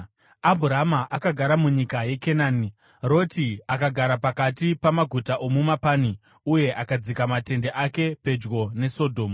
Abhurama akagara munyika yeKenani, Roti akagara pakati pamaguta omumapani uye akadzika matende ake pedyo neSodhomu.